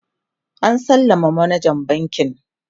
an sallama manajan bankin